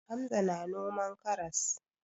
Hamza na noman karas.